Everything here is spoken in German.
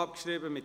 Vote (ch. 2)